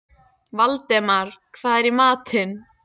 Valdemar, hvað er í matinn?